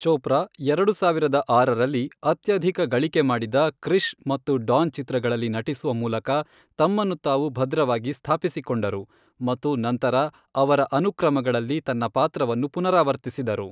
ಚೋಪ್ರಾ ಎರಡು ಸಾವಿರದ ಆರರಲ್ಲಿ ಅತ್ಯಧಿಕ ಗಳಿಕೆ ಮಾಡಿದ ಕೃಿಷ್ ಮತ್ತು ಡಾನ್ ಚಿತ್ರಗಳಲ್ಲಿ ನಟಿಸುವ ಮೂಲಕ ತಮ್ಮನ್ನು ತಾವು ಭದ್ರವಾಗಿ ಸ್ಥಾಪಿಸಿಕೊಂಡರು, ಮತ್ತು ನಂತರ ಅವರ ಅನುಕ್ರಮಗಳಲ್ಲಿ ತನ್ನ ಪಾತ್ರವನ್ನು ಪುನರಾವರ್ತಿಸಿದರು.